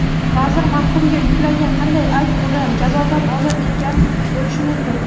vazir mahkumga yuklagan qanday ayb uni jazodan ozod etgan bo‘lishi mumkin?.